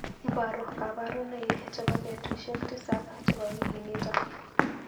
Iparu kaparunaik chebo betushek tisab chebo wikinito.